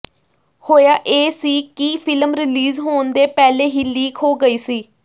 ਹੋਇਆ ਇਹ ਸੀ ਕਿ ਫਿਲਮ ਰਿਲੀਜ ਹੋਣ ਦੇ ਪਹਿਲੇ ਹੀ ਲਿਕ ਹੋ ਗਈ ਸੀ